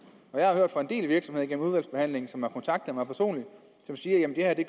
jeg har hørt fra en del virksomheder gennem udvalgsbehandlingen som har kontaktet mig personligt og som siger at det